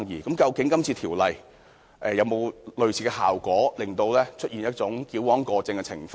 究竟今次條例有沒有類似的效果，以致出現矯枉過正的情況？